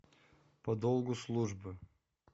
по долгу службы